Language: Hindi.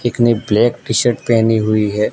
एक ने ब्लैक टी शर्ट पेहनी हुई है।